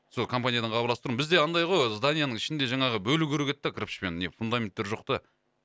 сол компаниядан хабарласып тұрмын бізде андай ғой зданияның ішінде жаңағы бөлу керек еді де кірпішпен не фундаменттер жоқ та